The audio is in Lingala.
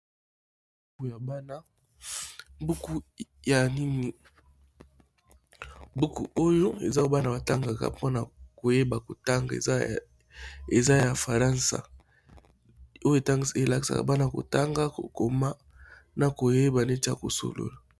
Buku ya banabuku ya nini buku oyo eza bana batangaka mpona koyeba kotanga eza ya faransa oyo tan elaksaka bana kotanga kokoma na koyeba neti ya kosolola.